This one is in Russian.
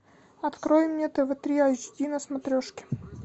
открой мне тв три эйч ди на смотрешке